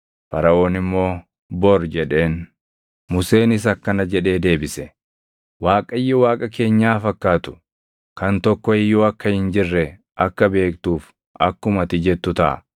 Faraʼoon immoo, “Bor” jedheen. Museenis akkana jedhee deebise; “ Waaqayyo Waaqa keenyaa fakkaatu kan tokko iyyuu akka hin jirre akka beektuuf akkuma ati jettu taʼa.